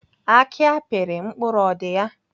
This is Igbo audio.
Aki apịrị mkpụrụ ọ dị ya?